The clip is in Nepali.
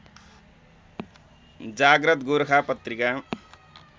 जाग्रत गोर्खा पत्रिका